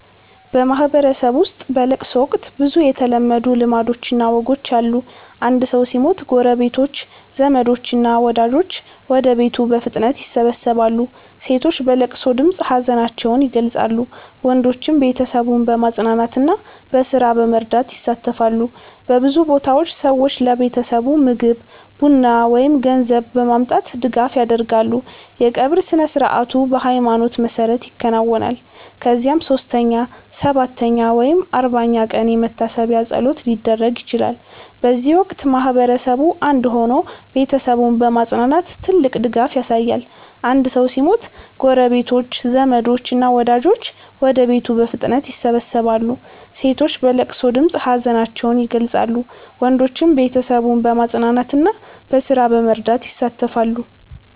በማህበረሰብ ውስጥ በለቅሶ ወቅት ብዙ የተለመዱ ልማዶችና ወጎች አሉ። አንድ ሰው ሲሞት ጎረቤቶች፣ ዘመዶች እና ወዳጆች ወደ ቤቱ በፍጥነት ይሰበሰባሉ። ሴቶች በለቅሶ ድምፅ ሀዘናቸውን ይገልጻሉ፣ ወንዶችም ቤተሰቡን በማጽናናትና በስራ በመርዳት ይሳተፋሉ። በብዙ ቦታዎች ሰዎች ለቤተሰቡ ምግብ፣ ቡና ወይም ገንዘብ በማምጣት ድጋፍ ያደርጋሉ። የቀብር ስነ-ሥርዓቱ በሃይማኖት መሰረት ይከናወናል፣ ከዚያም 3ኛ፣ 7ኛ ወይም 40ኛ ቀን የመታሰቢያ ፀሎት ሊደረግ ይችላል። በዚህ ወቅት ማህበረሰቡ አንድ ሆኖ ቤተሰቡን በማጽናናት ትልቅ ድጋፍ ያሳያል። አንድ ሰው ሲሞት ጎረቤቶች፣ ዘመዶች እና ወዳጆች ወደ ቤቱ በፍጥነት ይሰበሰባሉ። ሴቶች በለቅሶ ድምፅ ሀዘናቸውን ይገልጻሉ፣ ወንዶችም ቤተሰቡን በማጽናናትና በስራ በመርዳት ይሳተፋሉ።